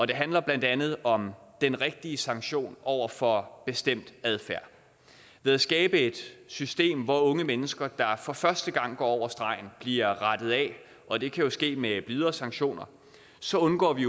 det handler blandt andet om at den rigtige sanktion over for bestemt adfærd ved at skabe et system hvor unge mennesker der for første gang går over stregen bliver rettet af og det kan jo ske med videre sanktioner så undgår vi